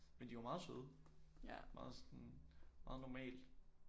Men de var meget søde sådan meget normale